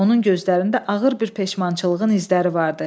Onun gözlərində ağır bir peşmançılığın izləri vardı.